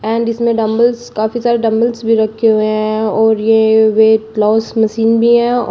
and इसमें dumbbells काफी सारे डंबल्स भी रखे हुए हैं और ये वेट मशीन भी है औ--